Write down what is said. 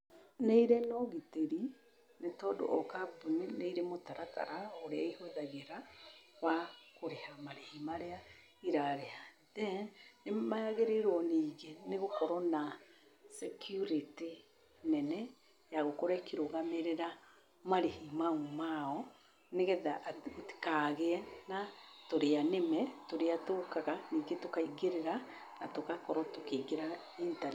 Nĩ irĩ na ũgĩtĩri nĩ tondũ o kambuni nĩ irĩ mũtaratara ũrĩa ihũthagĩra wa kũrĩha marĩhi marĩa irarĩha. Then, nĩ magĩrĩirwo ningĩ gũkorwo na security nene ya gũkorwo ĩkĩrũgamĩrĩra marĩhi mau mao nĩgetha gũtikagĩe na tũrĩanĩme tũrĩa tũũkaga ningĩ tũkaingĩrĩra na tũgakorwo tũkĩingĩra-